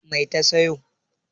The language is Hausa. Mai ta sayo?